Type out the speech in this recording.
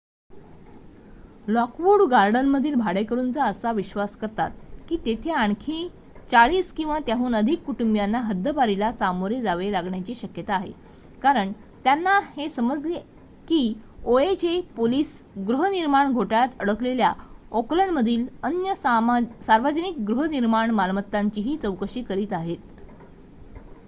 Lockwood गार्डनमधील भाडेकरूंचा असा विश्वास करतात की तेथे आणखी 40 किंवा त्याहून अधिक कुटुंबीयांना हद्दपारीला सामोरे जावे लागण्याची शक्यता आहे कारण त्यांना हे समजले की oha पोलिस गृहनिर्माण घोटाळ्यात अडकलेल्या ओकलँडमधील अन्य सार्वजनिक गृहनिर्माण मालमत्तांचीही चौकशी करीत आहेत